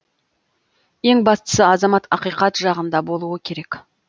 ең бастысы азамат ақиқат жағында болуы керек